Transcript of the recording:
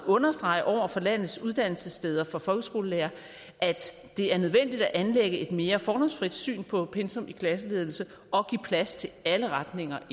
at understrege over for landets uddannelsessteder for folkeskolelærere at det er nødvendigt at anlægge et mere fordomsfrit syn på pensum i klasseledelse og give plads til alle retninger